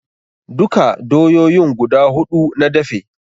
Duka doyoyin guda huɗu na dafe